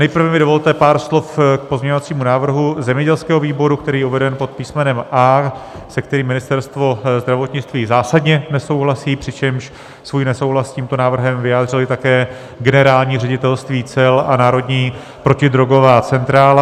Nejprve mi dovolte pár slov k pozměňovacímu návrhu zemědělského výboru, který je uveden pod písmenem A, se kterým Ministerstvo zdravotnictví zásadně nesouhlasí, přičemž svůj nesouhlas s tímto návrhem vyjádřily také Generální ředitelství cel a Národní protidrogová centrála.